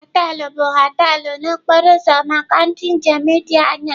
họteelụ bụ họteelụ na okporo ụzọ maka ndị njem dị anya.